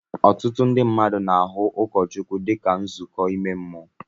Ọtụtụ ndị mmadụ na-ahụ ndị ụkọchukwu dị ka nduzi ime mmụọ